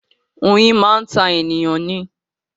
Oyin máa ń ta ènìyàn ni